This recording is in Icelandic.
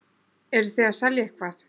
Eruð þið að selja eitthvað?